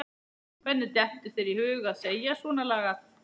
Hvernig dettur þér í hug að segja svonalagað!